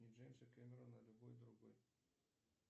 не джеймса кемерона а любой другой